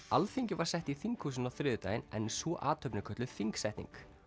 Alþingi var sett í þinghúsinu á þriðjudaginn en sú athöfn er kölluð þingsetning